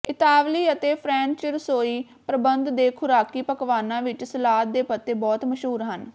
ਇਤਾਲਵੀ ਅਤੇ ਫ੍ਰੈਂਚ ਰਸੋਈ ਪ੍ਰਬੰਧ ਦੇ ਖੁਰਾਕੀ ਪਕਵਾਨਾਂ ਵਿੱਚ ਸਲਾਦ ਦੇ ਪੱਤੇ ਬਹੁਤ ਮਸ਼ਹੂਰ ਹਨ